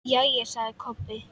Jæja, sagði Kobbi.